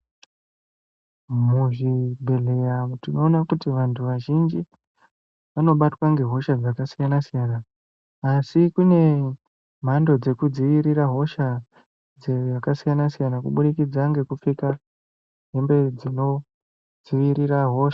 Muzvibhedhleya umu tinoona kuti vantu vazhinji vanobatwa nge hosha dzakasiyana siyana asi kune mhando dzekudzivirira hosha dzakasiyana siyana kubidikidza ngekupfeka hembe dzino dzivirira hosha.